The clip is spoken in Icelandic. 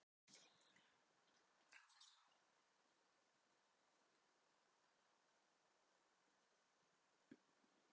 Ykkur að segja, þá átti ég hlutdeild í athyglisverðum uppgötvunum í atómeðlisfræði á þessum árum.